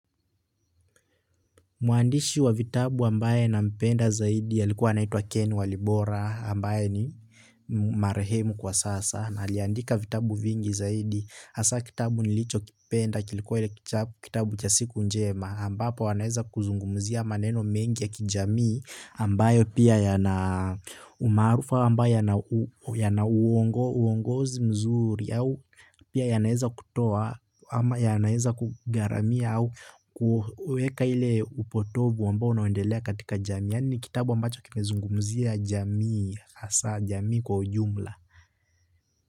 Mwandishi wa vitabu ambaye nampenda zaidi anaitwa ken walibora ambaye ni marehemu kwa sasa, na aliandika vitabu vingi zaidi, asa kitabu nilichokipenda, kilikuwa kitabu cha siku njema, ambapo anaeza kuzungumzia maneno mengi ya kijamii ambayo pia ya na umarufa, ambayo yana uongozi mzuri, pia yanaeza kutoa ama yanaeza kugharamia au kuweka ile upotovu ambao unaendelea katika jamia ni kitabu ambacho kimezungumzia jamii hasa jamii kwa ujumla.